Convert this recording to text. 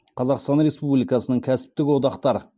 қазақстан республикасының кәсіптік одақтар